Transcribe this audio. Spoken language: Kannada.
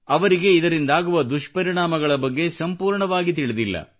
ಅವರಿಗೆ ಇದರಿಂದಾಗುವ ದುಷ್ಪರಿಣಾಮಗಳ ಬಗ್ಗೆ ಸಂಪೂರ್ಣವಾಗಿ ತಿಳಿದಿಲ್ಲ